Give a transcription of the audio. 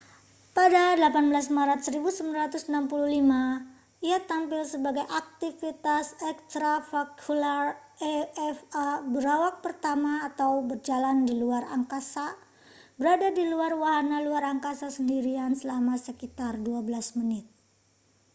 "pada 18 maret 1965 ia tampil sebagai aktivitas extravehicular eva berawak pertama atau berjalan di luar angkasa berada di luar wahana luar angkasa sendirian selama sekitar 12 menit.